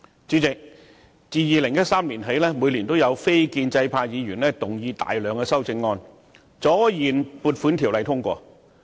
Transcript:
主席，自2013年起，每年也有非建制派議員動議大量修正案，阻延《撥款條例草案》通過。